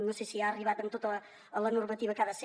no sé si ha arribat amb tota la normativa que ha de ser